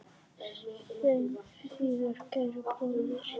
Sjáumst síðar, kæri bróðir.